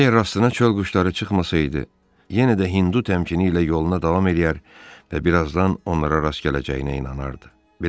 Əgər rastına çöl quşları çıxmasaydı, yenə də Hindu təmkin ilə yoluna davam eləyər və birazdan onlara rast gələcəyinə inanardı.